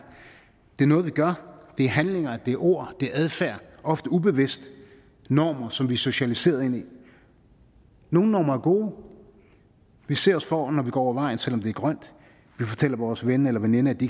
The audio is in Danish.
det er noget vi gør det er handlinger det er ord det er adfærd ofte ubevidst normer som vi er socialiseret ind i nogle normer er gode vi ser os for når vi går over vejen selv om der er grønt vi fortæller vores ven eller veninde at de